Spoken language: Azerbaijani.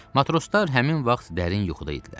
Matroslar həmin vaxt dərin yuxuda idilər.